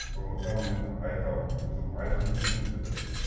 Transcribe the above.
сондықтан мен айтамын өзім айтқым келмесе де